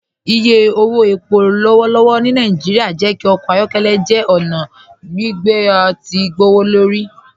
Ìyẹ̀ owó ẹ̀pọ̀ lọ́wọ̀lọ́wọ̀ ni Naijíríà jẹ́ kí ọkọ ayọkẹlẹ jẹ́ ọna gbìgbé tí o gbọwọ́lọ́rì